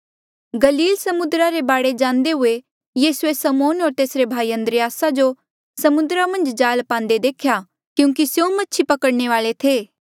गलील समुद्रा रे बाढे जांदे हुए यीसूए समौन होर तेसरे भाई अन्द्रियासा जो समुद्रा मन्झ जाल पांदे देख्या क्यूंकि स्यों मछी पकड़ने वाल्ऐ थे